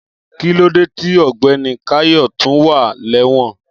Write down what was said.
Kìlóde ti ọgbẹní kàyọ́ tún wà lẹwon?